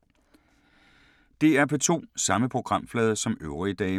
DR P2